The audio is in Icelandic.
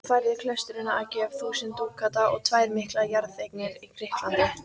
Hún færði klaustrinu að gjöf þúsund dúkata og tvær miklar jarðeignir í Grikklandi.